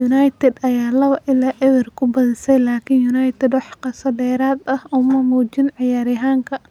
United ayaa 2-0 ku badisay laakiin United wax xiiso dheeraad ah uma muujin ciyaaryahanka.